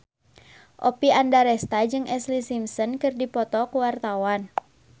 Oppie Andaresta jeung Ashlee Simpson keur dipoto ku wartawan